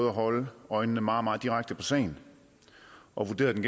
at holde øjnene meget meget direkte på sagen og vurderet den